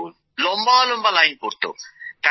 লম্বা লম্বা লাইন পড়তো